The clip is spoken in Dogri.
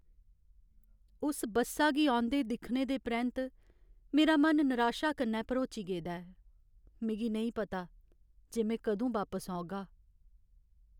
उस बस्सा गी औंदे दिक्खने दे परैंत्त, मेरा मन नराशा कन्नै भरोची गेदा ऐ। मिगी नेईं पता जे में कदूं बापस औगा।